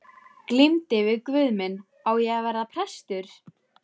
Glímdi við guð minn: Á ég að verða prestur?